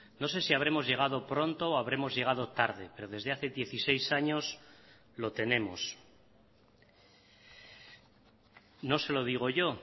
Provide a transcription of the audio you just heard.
no sé si habremos llegado pronto o habremos llegado tarde pero desde hace dieciséis años lo tenemos no se lo digo yo